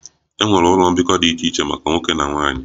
E nwere ụlọ mbikọ dị iche iche maka nwoke na nwanyị